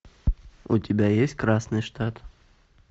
у тебя есть красный штат